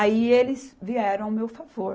Aí eles vieram ao meu favor.